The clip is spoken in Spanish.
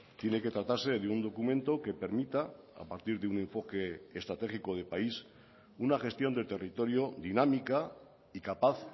tiene que tratarse de un documento que permita a partir de un enfoque estratégico de país una gestión del territorio dinámica y capaz